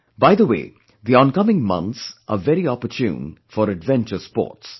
By the way the oncoming months are very opportune for adventure sports